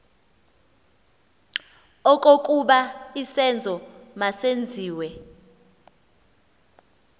okokuba isenzo masenziwe